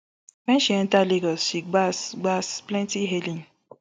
wen she enta lagos she gbab gbab plenti hailing